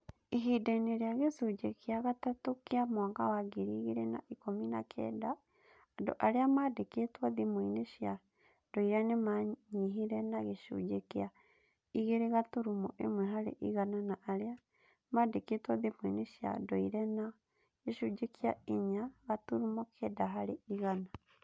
Ihinda-inĩ rĩa gĩcunjĩ gĩa gatatũ kĩa mwaka wa ngiri igĩrĩ na ikũmi na kenda, andũ arĩa maandĩkĩtwo thimũ-inĩ cia ndũire nĩ maanyihire na gĩcunjĩ kĩa igĩrĩ gaturumo ĩmwe harĩ igana na arĩa maandĩkĩtwo thimũ-inĩ cia ndũire na gĩcunjĩ kĩa inya gaturumo kenda harĩ igana.